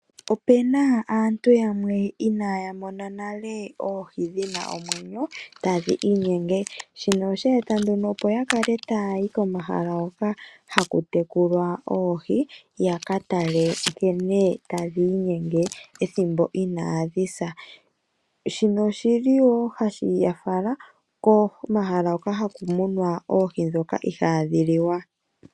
Opena aantu yamwe inaaya mona nale oohi dhina omwenyo tadhi inyenge. Shino osha eta nduno opo yakale tayayi komahala hoka hakutekulwa oohi yakatale nkene tadhi inyenge ethimbo inaadhi sa. Shino oshili woo hashi ya fala komahala hoka haku munwa oohi ndhoka ihaadhi liwa.